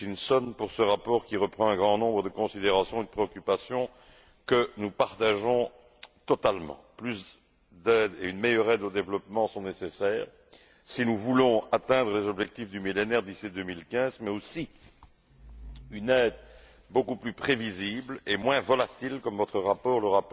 Hutchinson, pour ce rapport qui reprend un grand nombre de considérations et de préoccupations que nous partageons totalement. Plus d'aide et une meilleure aide au développement sont nécessaires si nous voulons atteindre les objectifs du Millénaire d'ici 2015, mais aussi une aide beaucoup plus prévisible et moins volatile, comme votre rapport le